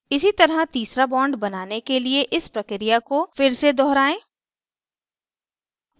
इसी तरह तीसरा bond बनाने के लिए इस प्रक्रिया को फिर से दोहराएं